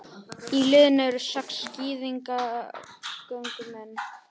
Í liðinu eru sex skíðagöngumenn